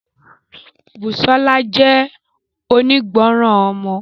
Busola jẹ́ onígbọràn ọmọ.